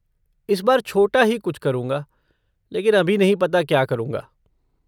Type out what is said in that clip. इस बार छोटा ही कुछ करूंगा, लेकिन अभी नहीं पता क्या करूंगा।